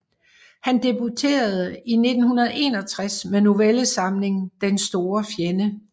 Han debuterede i 1961 med novellesamlingen Den store fjende